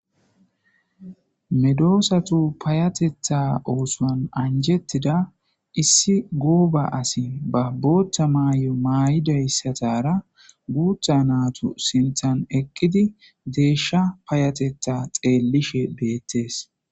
medoosatu payatetha oosuwan anjettida issi gooba asi ba booththa maay'o maay'idayssatara guutha naatu sinthan eqqidi deeshsha payatetha xeellishe beettees.